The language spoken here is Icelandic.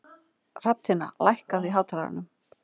Hrafntinna, lækkaðu í hátalaranum.